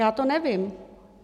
Já to nevím.